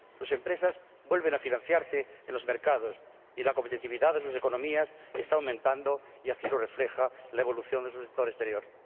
Sus empresas vuelven a financiarse en los mercados y la competitividad de sus economías está aumentando y así lo refleja la evolución de su sector exterior.